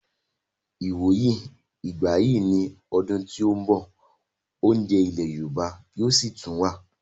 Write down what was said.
Ìwòyí ìgbà yìí ní ọdún tí ó ń bọ̀, oúnjẹ ilẹ̀ yorùbá yóò sì tún wà